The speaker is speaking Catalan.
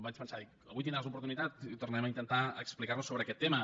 vaig pensar avui en tindràs oportunitat i tornarem a intentar explicar nos sobre aquest tema